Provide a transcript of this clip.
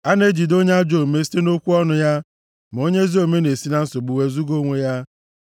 A na-ejide onye ajọ omume site nʼokwu ọnụ ya, ma onye ezi omume na-esi na nsogbu wezuga onwe ya.